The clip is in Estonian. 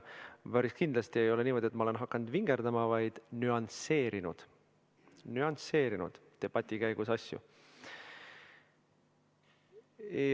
Päris kindlasti ei ole niimoodi, et ma olen hakanud vingerdama, vaid ma olen nüansseerinud debati käigus asju.